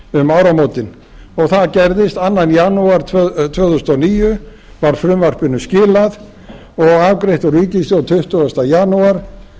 um áramótin og það gerðist annan janúar tvö þúsund og níu var frumvarpinu skilað og afgreitt úr ríkisstjórn tuttugasta janúar